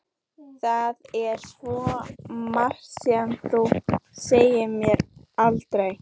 Það er svo margt sem þú sagðir mér aldrei.